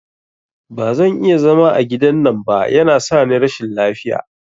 Bazan iya zama a gidan nan ba, yana sani rashin lafiya